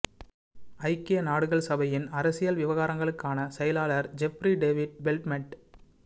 ஜக்கிய நாடுகள் சபையின் அரசியல் விவகாரங்களுக்கான செயலாளர் ஜெப்ரி டேவிட் பெல்ட்மென்ட்